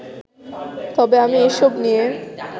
তবে আমি এসব নিয়ে